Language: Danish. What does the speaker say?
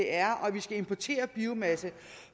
er og at vi skal importere biomasse